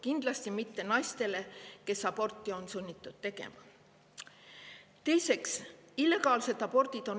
Kindlasti mitte naistele, kes on sunnitud aborti tegema.